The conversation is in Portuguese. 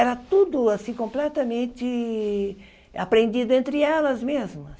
Era tudo assim completamente aprendido entre elas mesmas.